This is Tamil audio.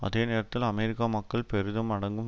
அதே நேரத்தில் அமெரிக்க மக்கள் பெரிதும் அடங்கும்